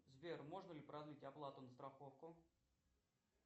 сбер можно ли продлить оплату на страховку